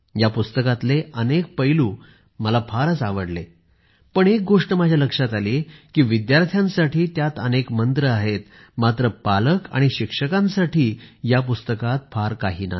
या पुस्तकातील अनेक पैलू मला फारच आवडले पण एक गोष्ट माझ्या लक्षात आली की विद्यार्थ्यांसाठी त्यात अनेक मंत्र आहेत मात्र पालक आणि शिक्षकांसाठी या पुस्तकात फार काही नाही